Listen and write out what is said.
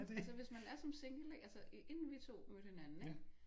Altså hvis man er som single ikke altså inden vi to mødte hinanden ikke